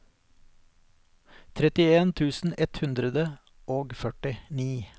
trettien tusen ett hundre og førtini